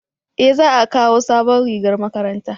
eh za a kawo sabon rigar makaranta